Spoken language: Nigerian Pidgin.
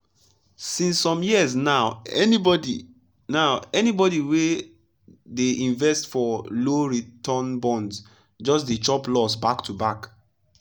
since some years now anybody now anybody wey dey invest for low-return bonds just dey chop loss back to back.